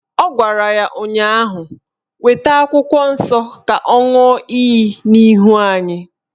Ọ gwara ya ụnyaahụ "Weta akwụkwọ nsọ ka ọ ṅụọ iyi n'ihu anyị"